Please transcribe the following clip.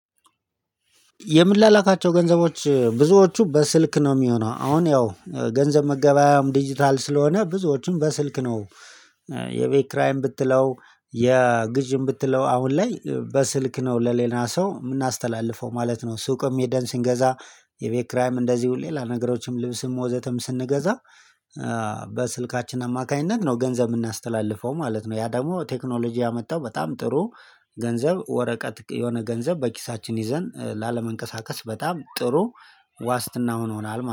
የምላላካቸው ገንዘቦች ብዙዎቹ በስልክ ነው የሚሆነው አሁን ያው ገንዘብ መገበያያውም ዲጂታል ስለሆነ ብዙዎቹም በስልክ ነው። የቤት ክራይም ብትለው የግዥም ብትለው አሁን ላይ በስልክ ነው ለሌላ ሰው የምናስተላልፈው ማለት ነው። ሱቅም ሄደን ስንገዛ የቤት ክራይም እንደዚሁ ሌላ ነገሮችም ልብስም ወዘተም ስንገዛ በስልካችን አማካኝነት ነው ገንዘብ የምናስተላልፈው ማለት ነው። ያ ደግሞ ቴክኖሎጂ ያመጣው በጣም ጥሩ። ገንዘብ ወረቀት የሆነ ገንዘብ በኪሳችን ይዘን ላለመንቀሳቀስ በጣም ጥሩ። ዋስትና ሆኖናል